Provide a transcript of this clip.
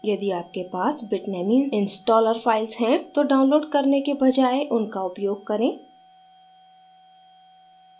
यदि आपके पास bitnami installer files हैं तो डाउनलोड करने के बजाय उनका उपयोग करें